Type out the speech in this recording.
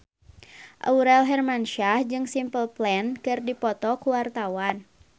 Aurel Hermansyah jeung Simple Plan keur dipoto ku wartawan